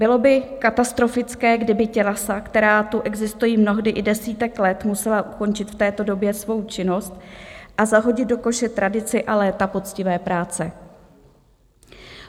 Bylo by katastrofické, kdyby tělesa, která tu existují mnohdy i desítky let, musela ukončit v této době svou činnost a zahodit do koše tradici a léta poctivé práce.